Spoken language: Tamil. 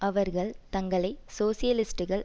அவர்கள் தங்களை சோசியலிஸ்டுகள்